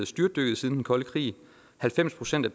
styrtdykket siden den kolde krig halvfems procent af